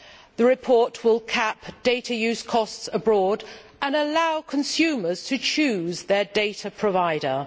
The report will cap data use costs abroad and allow consumers to choose their data provider.